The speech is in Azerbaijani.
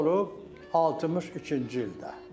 Bu olub 62-ci ildə.